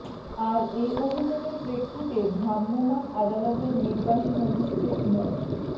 আর এ অভিযোগের প্রেক্ষিতে ভ্রাম্যমাণ আদালতের নির্বাহী ম্যাজিস্ট্রেট মো